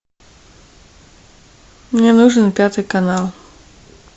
мне нужен пятый канал